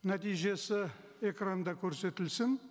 нәтижесі экранда көрсетілсін